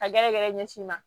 Ka gɛrɛ gɛrɛ ɲɛsin i ma